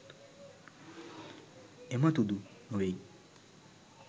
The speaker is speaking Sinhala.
එමතුදු නොවෙයි